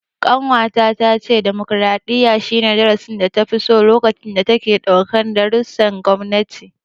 Ƙanwata ta ce demokaraɗiyya, shi ne darasin data fi so lokacin da take ɗaukan darussan gwamnati.